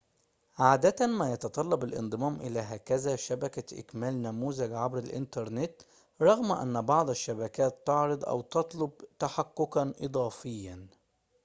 عادة ما يتطلب الانضمام إلى هكذا شبكة إكمال نموذج عبر الإنترنت رغم أن بعض الشبكات تعرض أو تطلب تحققًا إضافيًا